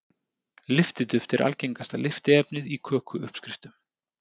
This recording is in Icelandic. lyftiduft er algengasta lyftiefnið í köku uppskriftum